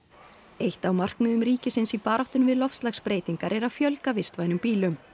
eitt af markmiðum ríkisins í baráttunni við loftslagsbreytingar er að fjölga vistvænum bílum